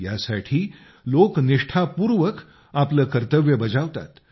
यासाठी लोक निष्ठापूर्वक आपले कर्तव्य बजावतात